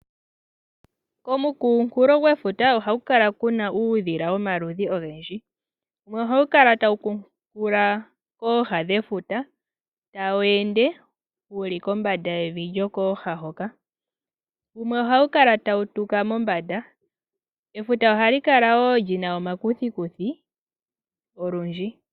Komunkulo gwefuta ohaku kala kuna uudhila womaludhi ogendji. Oha wu kala tawu kuunkula kooha dhefuta tawu ende wuli kombanda yevi lyokooha hoka wumwe ohawu kala tawu tuka mombanda. Efuta ohali kala lina omakuthikuthi olundji.